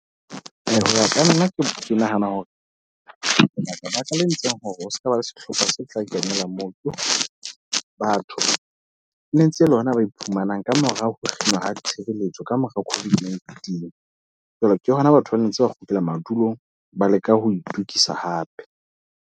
Hoya ka nna ke nahana hore lebaka-baka le entseng hore ho sekaba le sehlopha se tla kenela moo. Ke hore batho ne ntse le hona ba iphumanang kamora ho kgethwa ditshireletso ka mora COVID-19. Jwale ke hona batho ba ntse ba kgutlela madulong, ba leka ho itokisa hape.